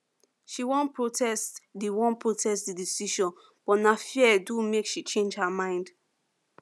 she wan protest the wan protest the decision but na fear do make she change her mind